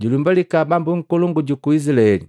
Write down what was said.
Julumbalika Bambu nkolongu juku Izilaeli.”